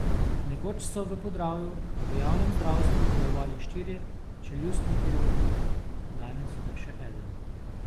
Nekoč so v Podravju v javnem zdravstvu delovali štirje čeljustni kirurgi, danes le še eden.